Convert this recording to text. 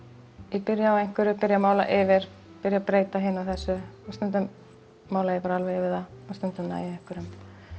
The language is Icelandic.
ég byrja á einhverju byrja að mála yfir byrja að breyta hinu og þessu og stundum mála ég bara alveg yfir það og stundum næ ég einhverjum